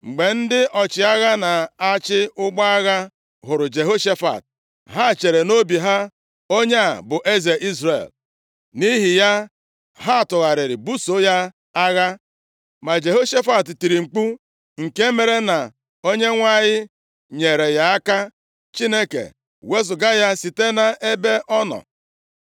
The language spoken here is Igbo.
Mgbe ndị ọchịagha na-achị ụgbọ agha hụrụ Jehoshafat, ha chere nʼobi ha, “Onye a bụ eze Izrel.” Nʼihi ya, ha tụgharịrị ibuso ya agha, ma Jehoshafat tiri mkpu, nke mere na Onyenwe anyị nyeere ya aka. Chineke wezugara ha site nʼebe ọ nọ,